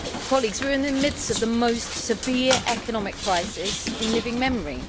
Colleagues, we are in the midst of the most severe economic crisis in living memory.